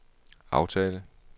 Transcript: aftale